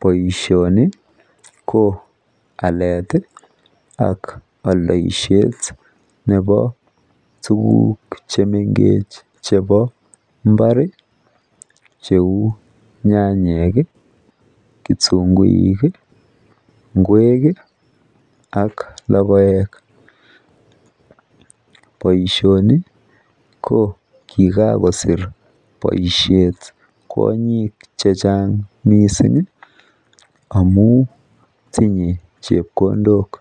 boishoni ko aleet iih ak oldoishet nebo tuguk chemengech chebo mbaar iih cheuu nyanyek iih, kitunguik iih, ngweek iih ak logoeek, boishoni ko kigagosiir boishet komuch chechnag mising amuun tinye chepkondook,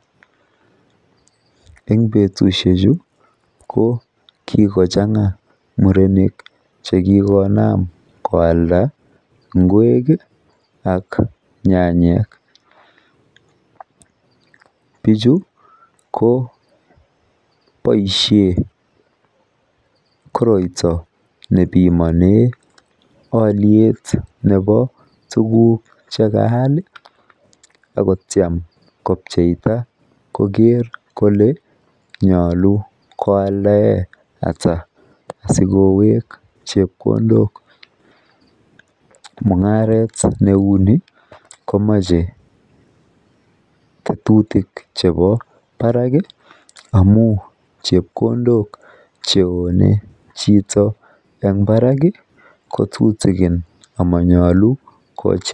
en betushechu ko kigochanga murenik chekigonaam koalda ngweek iih ak nyanyeek, bichu ko boishen koroito nebimonee olyeet nebo tuguuk chegaal iih ak kotyaan kobcheita kogeer kole nyolu koaldaa ata asigoweek chepkondook mungaret neuu ni komoche ketujtik chebo baraak iih amun chepkondook cheone chito en baraak iih kotutigin amanyolu kochi,,